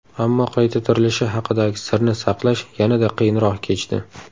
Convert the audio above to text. Ammo qayta tirilishi haqidagi sirni saqlash yanada qiyinroq kechdi.